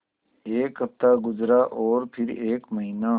एक हफ़्ता गुज़रा और फिर एक महीना